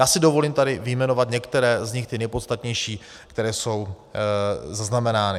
Já si dovolím tady vyjmenovat některé z nich, ty nejpodstatnější, které jsou zaznamenány.